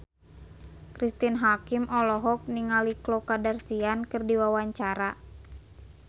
Cristine Hakim olohok ningali Khloe Kardashian keur diwawancara